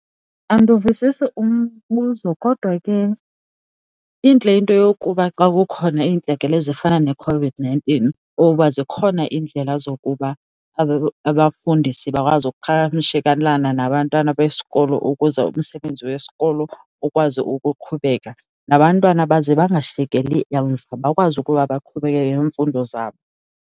Andiwuvisisi umbuzo kodwa ke intle into yokuba xa kukhona iintlekele ezifana neeCOVID-nineteen oba zikhona iindlela zokuba abafundisi bakwazi ukuqhagamshelana nabantwana besikolo ukuze umsebenzi wesikolo ukwazi ukuqhubeka. Nabantwana baze bangashiyeki emva bakwazi ukuba baqhubeke nemfundo zabo.